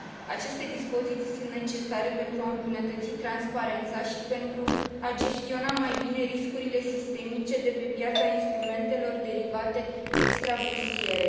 Aceste dispoziții sunt necesare pentru a îmbunătăți transparența și pentru a gestiona mai bine riscurile sistemice de pe piața instrumentelor derivate extrabursiere.